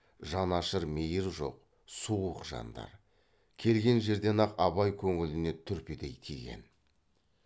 жанашыр мейір жоқ суық жандар келген жерден ақ абай көңіліне түрпідей тиген